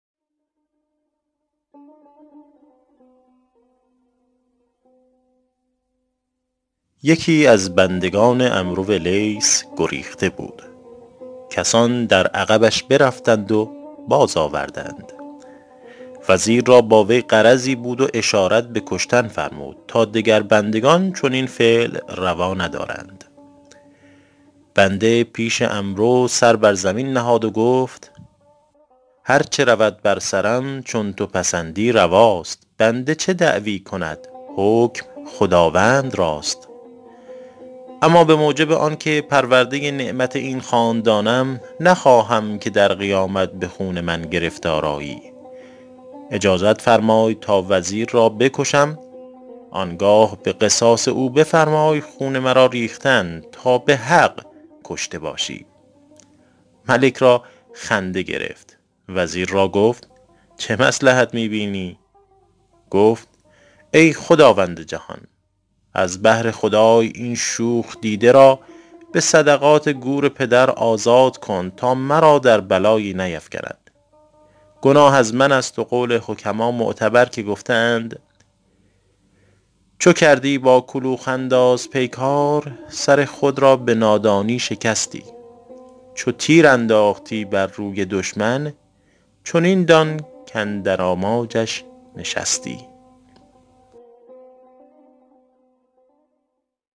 یکی از بندگان عمرو لیث گریخته بود کسان در عقبش برفتند و باز آوردند وزیر را با وی غرضی بود و اشارت به کشتن فرمود تا دگر بندگان چنین فعل روا ندارند بنده پیش عمرو سر بر زمین نهاد و گفت هر چه رود بر سرم چون تو پسندی رواست بنده چه دعوی کند حکم خداوند راست اما به موجب آن که پرورده نعمت این خاندانم نخواهم که در قیامت به خون من گرفتار آیی اجازت فرمای تا وزیر را بکشم آن گه به قصاص او بفرمای خون مرا ریختن تا به حق کشته باشی ملک را خنده گرفت وزیر را گفت چه مصلحت می بینی گفت ای خداوند جهان از بهر خدای این شوخ دیده را به صدقات گور پدر آزاد کن تا مرا در بلایی نیفکند گناه از من است و قول حکما معتبر که گفته اند چو کردی با کلوخ انداز پیکار سر خود را به نادانی شکستی چو تیر انداختی بر روی دشمن چنین دان کاندر آماجش نشستی